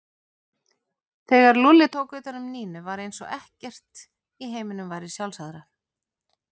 Þegar Lúlli tók utan um Nínu var eins og ekkert í heiminum væri sjálfsagðara.